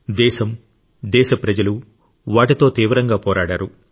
దేశం దేశ ప్రజలు వాటితో తీవ్రంగా పోరాడారు